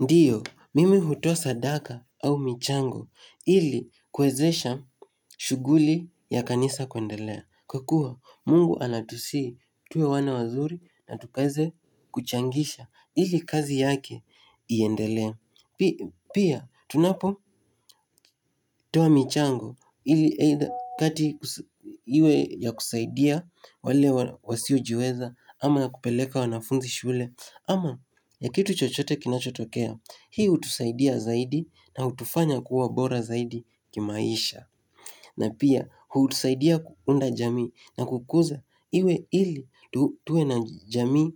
Ndio, mimi hutoa sadaka au michango ili kuwezesha shughuli ya kanisa kuendelea. Kwa kuwa, mungu anatusihi tuwe wana wazuri na tukaweze kuchangisha ili kazi yake iendelea. Pia, tunapotoa michango iwe ya kusaidia wale wasiojiweza ama ya kupeleka wanafunzi shule. Ama ya kitu chochote kinachotokea, hii hutusaidia zaidi na hutufanya kuwa bora zaidi kimaisha na pia, hutusaidia kuunda jamii na kukuza ili tuwe na jamii